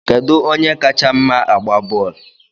Kedu onye kacha mma agba bọọlụ?